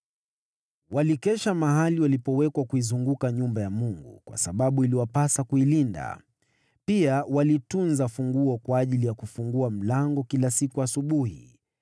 Walikesha mahali walipowekwa kuizunguka nyumba ya Mungu, kwa sababu iliwapasa kuilinda. Pia walitunza funguo kwa ajili ya kufungua mlango kila siku asubuhi.